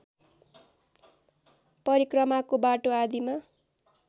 परिक्रमाको बाटो आदिमा